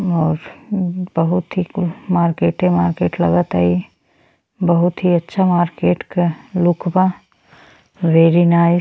और बहुत ही कुल मार्केटे मार्किट लगता ई। बहुत ही अच्छा मार्किट के लुक बा वेरी नाइस --